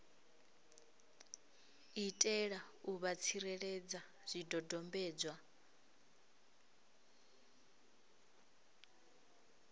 itela u vha tsireledza zwidodombedzwa